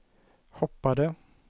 hoppade